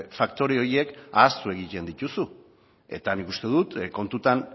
faktore horiek ahaztu egiten dituzu eta nik uste dut kontutan